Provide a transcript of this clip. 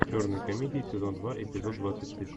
черные комедии сезон два эпизод двадцать шесть